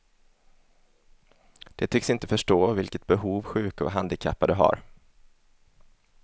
De tycks inte förstå vilket behov sjuka och handikappade har.